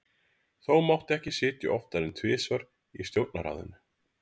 Þó mátti ekki sitja oftar en tvisvar í stjórnarráðinu.